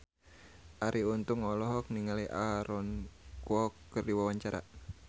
Arie Untung olohok ningali Aaron Kwok keur diwawancara